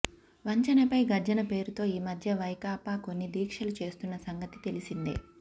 వంచనపై గర్జన పేరుతో ఈ మధ్య వైకాపా కొన్ని దీక్షలు చేస్తున్న సంగతి తెలిసిందే